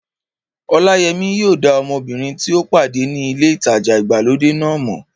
Ọláyẹmí yóò dá ọmọbìnrin tí ó pàdé ní ilé ìtajà ìgbàlódé náà mọ̀